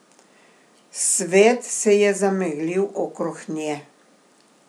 Svet se je zameglil okrog nje.